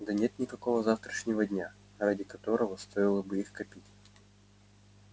да и нет никакого завтрашнего дня ради которого стоило бы их копить